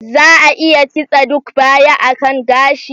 Za a iya kitse duk baya a kan gashi?